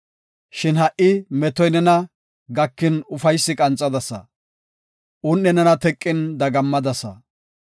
Shin ha77i metoy nena gakin ufaysi qanxadasa; un7i nena teqin dagammadasa.